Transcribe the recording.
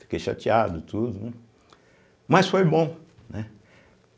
Fiquei chateado e tudo, né, mas foi bom, né?